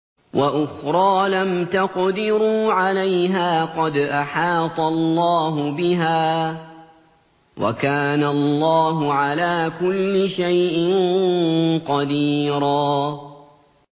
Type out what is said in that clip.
وَأُخْرَىٰ لَمْ تَقْدِرُوا عَلَيْهَا قَدْ أَحَاطَ اللَّهُ بِهَا ۚ وَكَانَ اللَّهُ عَلَىٰ كُلِّ شَيْءٍ قَدِيرًا